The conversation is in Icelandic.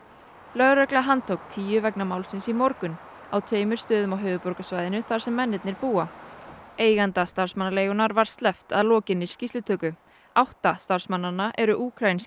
lögregla handtók tíu vegna málsins í morgun á tveimur stöðum á höfuðborgarsvæðinu þar sem mennirnir búa eiganda starfsmannaleigunnar var sleppt að lokinni skýrslutöku átta starfsmannanna eru